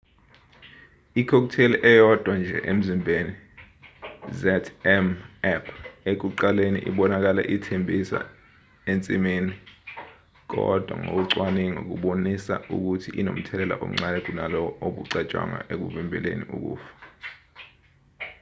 i-cocktai eyodwa nje emzimbeni zmapp ekuqaleni ibonakale ithembisa ensimini kodwa ngokocwaningo kubonisa ukuthi inomthelela omncane kunalowo obucatshwangwa ekuvimbeleni ukufa